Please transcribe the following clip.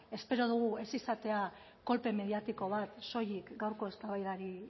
espero dugu ez izatea kolpe mediatiko bat soilik gaurko eztabaidari